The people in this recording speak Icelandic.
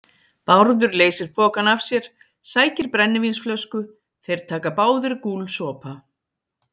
Bárður leysir pokann af sér, sækir brennivínsflösku, þeir taka báðir gúlsopa.